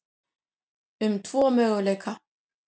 um tvo möguleika.